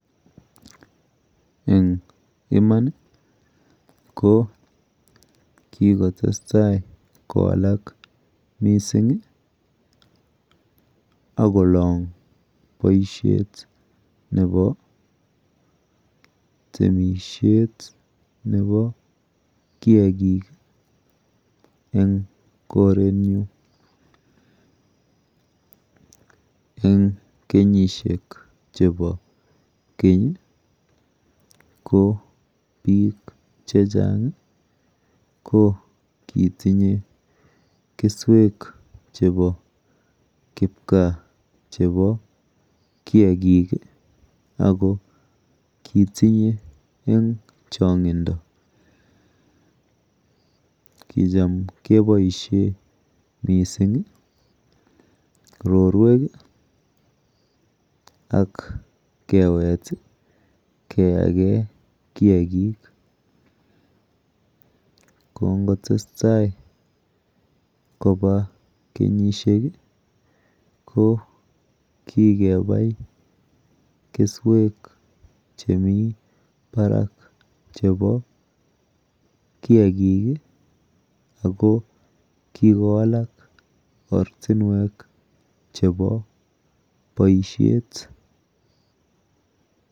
Eng iman ko kikotestai kowalak mising akolong boishet nepo temishet nepo kiakik eng korenyu. Eng kenyishek chepo keny ko biik chechang ko kitinye keswek chepo kipkaa chepo kiakik ako kitinye eng chong'indo. Kicham keboishe mising rorwek ak kewet keyake kiakik. Kongotestai kopa kenyishek ko kikepai keswek chemi barak chepo kiakik ako kikowalak ortinwek chepo boishet.